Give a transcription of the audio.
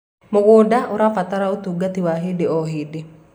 mũgũnda ũrabatara utungata wa hĩndĩ o hĩndĩ